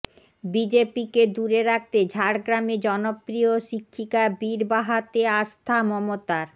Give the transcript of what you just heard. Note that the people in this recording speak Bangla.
বিজেপিকে দূরে রাখতে ঝাড়গ্রামে জনপ্রিয় শিক্ষিকা বীরবাহাতে আস্থা মমতার